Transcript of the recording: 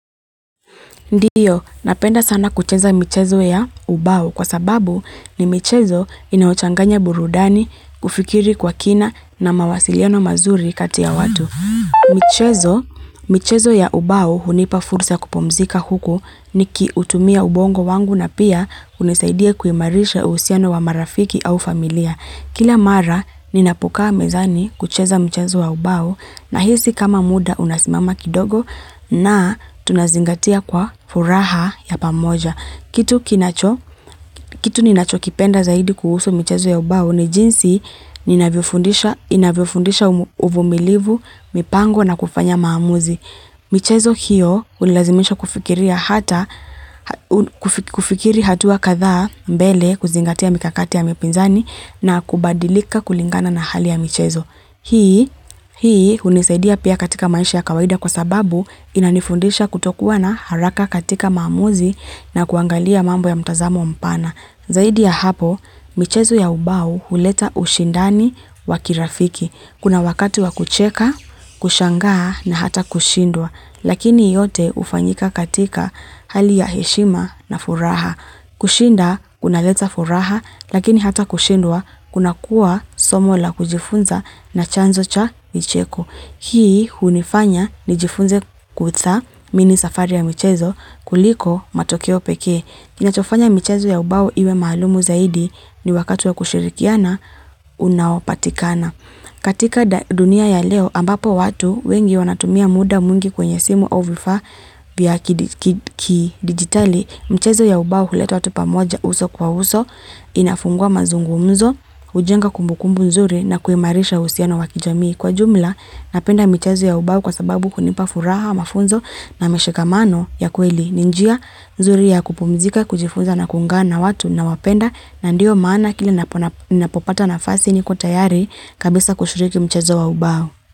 Ndio, napenda sana kucheza michezo ya ubao kwa sababu ni michezo inayochanganya burudani kufikiri kwa kina na mawasiliano mazuri kati ya watu. Michezo, michezo ya ubao hunipa fursa ya kupumzika huku nikiutumia ubongo wangu na pia hunisaidia kuimarisha uhusiano wa marafiki au familia. Kila mara ninapokaa mezani kucheza mchezo wa ubao nahisi kama muda unasimama kidogo na tunazingatia kwa furaha ya pamoja kitu kitu ninachokipenda zaidi kuhusu michezo ya ubao ni jinsi inavyofundisha uvumilivu, mipango na kufanya maamuzi. Michezo hiyo hunilazimisha kufikiria kufikiri hatua kadhaa mbele kuzingatia mikakati ya mapinzani na kubadilika kulingana na hali ya michezo. Hii hunisaidia pia katika maisha ya kawaida kwa sababu inanifundisha kutokuwa na haraka katika maamuzi na kuangalia mambo ya mtazamo mpana. Zaidi ya hapo, michezo ya ubao huleta ushindani wa kirafiki. Kuna wakati wa kucheka, kushangaa na hata kushindwa. Lakini yote hufanyika katika hali ya heshima na furaha. Kushinda, kunaleta furaha, lakini hata kushindwa, kunakuwa somo la kujifunza na chanzo cha micheko. Hii hunifanya nijifunze kuthamini safari ya michezo kuliko matokeo pekee. Kinachofanya michezo ya ubao iwe maalumu zaidi ni wakati wa kushirikiana unaopatikana. Katika dunia ya leo ambapo watu wengi wanatumia muda mwingi kwenye simu au vifaa vya kidijitali. Michezo ya ubao huleta watu pamoja uso kwa uso, inafungua mazungumuzo, hujenga kumbukumbu nzuri na kuimarisha uhusiano wa kijamii. Kwa jumla, napenda michezo ya ubao kwa sababu hunipa furaha mafunzo na mashikamano ya kweli. Ni njia, nzuri ya kupumzika, kujifunza na kuungana na watu ninaowapenda na ndio maana kile ninapopata nafasi niko tayari kabisa kushiriki mchezo wa ubao.